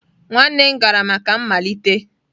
nwanne m gara maka mmalite?